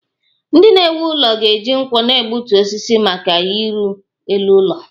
Ndị na-ewu ụlọ ga-eji nkwọ na-egbutu osisi maka ịrụ elu ụlọ